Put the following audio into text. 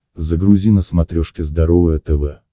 загрузи на смотрешке здоровое тв